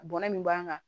Bɔnna min b'an kan